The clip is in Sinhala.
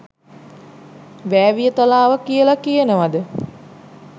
වෑවියතලාව කියලා කියනවාද